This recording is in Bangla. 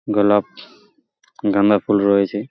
গোলাপ গাঁদা ফুল রয়েছে।